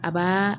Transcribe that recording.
A b'aa